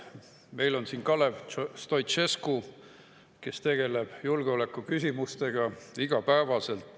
Meil on siin Kalev Stoicescu, kes tegeleb julgeolekuküsimustega iga päev.